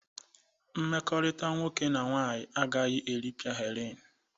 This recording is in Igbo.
Mmekọrịta nwoke na nwaanyị agaghị eripịa Helen.